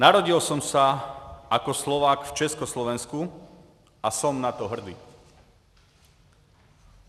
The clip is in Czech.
Narodil jsem se jako Slovák v Československu a jsem na to hrdý.